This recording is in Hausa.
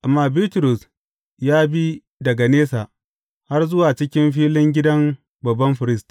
Amma Bitrus ya bi daga nesa, har zuwa cikin filin gidan babban firist.